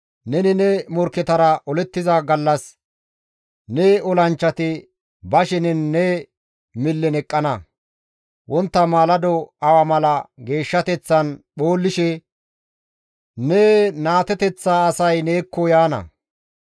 Neni ne morkketara olettiza gallas ne olanchchati ba shenen ne millen eqqana; wontta maalado awa mala geeshshateththan phoollashe ne naateteththa asay neekko yaana.